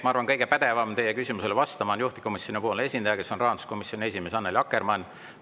Ma arvan, kõige pädevam teie küsimusele vastama on juhtivkomisjoni esindaja, kes on rahanduskomisjoni esimees Annely Akkermann.